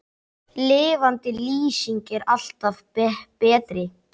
Lifandi lýsing er alltaf betri.